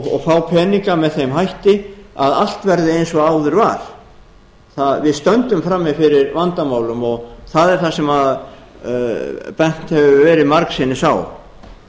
og fá peninga með þeim hætti að allt verði eins og áður var við stöndum frammi fyrir vandamálum og það er það sem bent hefur verið margsinnis á